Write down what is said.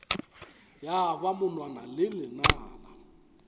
ya ba monwana le lenala